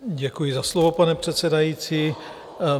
Děkuji za slovo, pane předsedající.